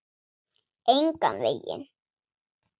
Engan veginn